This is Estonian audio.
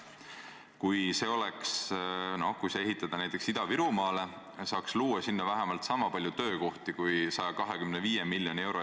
Ju siis selle pealt on Eesti Energia teada-tuntud naised-mehed arvutuse teinud ja Rahandusministeerium on selle üle vaadanud.